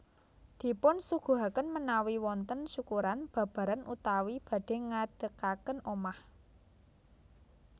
Dipun suguhakén ménawi wontén syukuran babaran utawi badhè ngédékakén omah